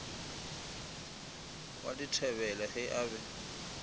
wa dithebele ge a be